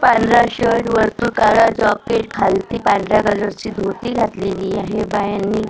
पांढरा शर्ट वरून काळा जॉकेट खालती पांढऱ्या कलरची धोती घातलेली आहे बायांनी--